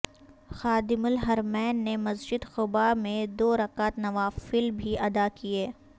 خادم الحرمین نے مسجد قبا میں دو رکعت نوافل بھی ادا کیے